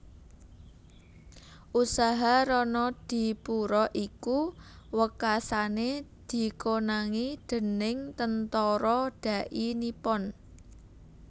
Usaha Ronodipuro iku wekasané dikonangi déning Tentara Dai Nippon